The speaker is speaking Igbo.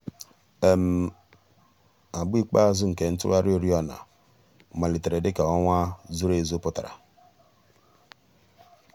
àgbà ikpeazụ̀ nke ntùghàrị̀ òrìọ̀nà màlítèrè dị̀ka ọnwà zùrù èzù pụtara.